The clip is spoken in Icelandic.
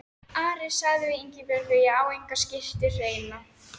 Ari sagði við Ingibjörgu: Ég á enga skyrtu hreina.